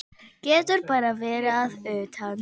Getur bara verið að utan.